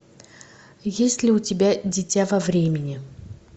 есть ли у тебя дитя во времени